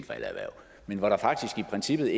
princippet